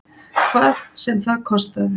Hvað sem það kostaði.